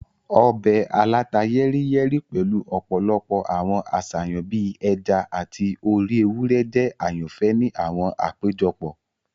Ọbẹ̀ aláta-yẹ́ríyẹ́rí pẹ̀lu ọ̀pọ̀lọpọ̀ àwọn àṣàyàn bii ẹja ati orí ewúrẹ́ jẹ àyànfẹ́ ni àwọn àpéjọpọ̀.